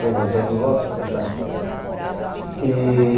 Foram tantos lotes, foi A Chacrinha.